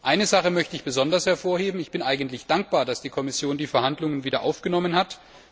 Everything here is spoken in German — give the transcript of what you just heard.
Eine Sache möchte ich besonders hervorheben Ich bin eigentlich dankbar, dass die Kommission die Verhandlungen wieder aufgenommen hat.